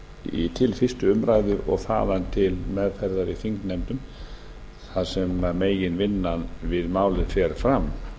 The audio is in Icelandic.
fyrr til fyrstu umræðu og þaðan til meðferðar í þingnefndum þar sem meginvinnan við málið fer fram